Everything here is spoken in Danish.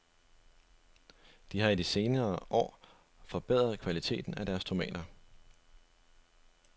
De har i de senere år forbedret kvaliteten af deres tomater.